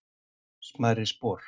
smærri spor